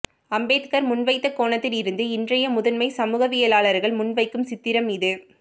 அம்பேத்கர் முன்வைத்த கோணத்தில் இருந்து இன்றைய முதன்மை சமூகவியாளர்கள் முன்வைக்கும் சித்திரம் இது